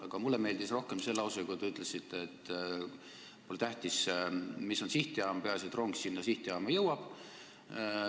Aga mulle meeldis rohkem see lause, kus te ütlesite, et pole tähtis, mis on sihtjaam, peaasi, et rong sinna sihtjaama jõuab.